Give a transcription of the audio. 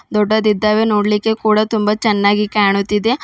ದೊಡ್ಡದಿದ್ದಾವೆ ನೋಡಲಿಕ್ಕೆ ಕೂಡ ತುಂಬ ಚೆನ್ನಾಗಿ ಕಾಣುತಿದೆ.